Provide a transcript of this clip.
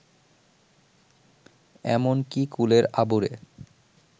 এমন কি কুলের আবুরে